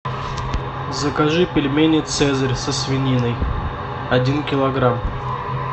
закажи пельмени цезарь со свининой один килограмм